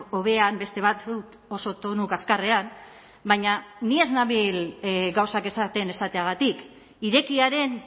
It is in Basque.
hobean beste batzuk oso tonu kaskarrean baina ni ez nabil gauzak esaten esateagatik irekiaren